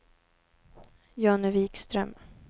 Jonny Wikström